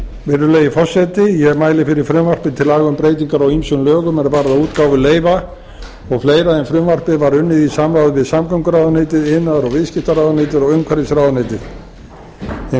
virðulegi forseti ég mæli fyrir frumvarpi til laga um breytingar á ýmsum lögum er varða útgáfu leyfa og fleira en frumvarpið var unnið í samráði við samgönguráðuneytið iðnaðar og viðskiptaráðuneytið og umhverfisráðuneytið hinn